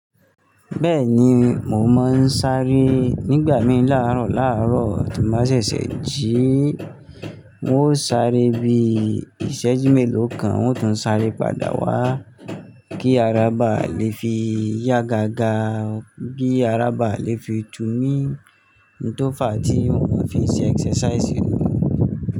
Bẹ́ẹ̀ni, mo máa ń sáré nígbà mí làárọ̀ làárọ̀ tí n ba ṣẹ̀ṣẹ̀ jí, n ó sáré bi ìṣẹ́jú mélòó kan n ó tún sáré padà wá kí ara bàá lè fi yá gágá, kí ara bàá lè fi túmí. N tó fàá tí n ò fi ṣe exercise ni.